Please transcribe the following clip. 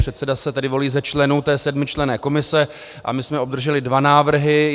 Předseda se tedy volí z členů té sedmičlenné komise a my jsme obdrželi dva návrhy.